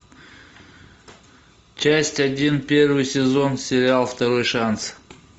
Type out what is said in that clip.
часть один первый сезон сериал второй шанс